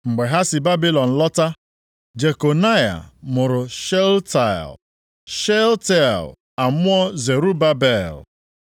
Mgbe ha si Babilọn lọta Jekonaya mụrụ Shealtiel, Shealtiel amụọ Zerubabel.